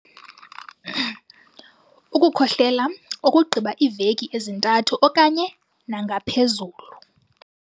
Ukukhohlela okugqiba iiveki ezintathu okanye nangaphezulu.